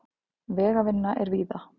Vegavinna er víða